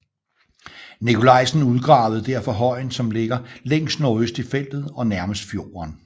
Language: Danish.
Nicolaysen udgravede derfor højen som ligger længst nordøst i feltet og nærmest fjorden